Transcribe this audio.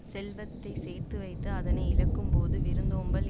செல்வத்தை சேர்த்துவைத்து அதனை இழக்கும்போது விருந்தோம்பல்